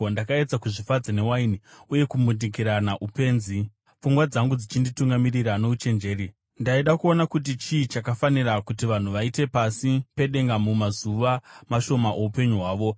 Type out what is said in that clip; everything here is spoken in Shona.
Ndakaedza kuzvifadza newaini, uye kumbundikira upenzi, pfungwa dzangu dzichinditungamirira nouchenjeri. Ndaida kuona kuti chii chakafanira kuti vanhu vaite pasi pedenga mumazuva mashoma oupenyu hwavo.